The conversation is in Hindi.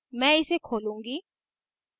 मैं इसे खोलूंगी